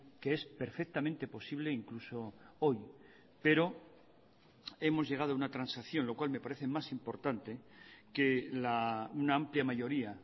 que es perfectamente posible incluso hoy pero hemos llegado a una transacción lo cual me parece más importante que una amplia mayoría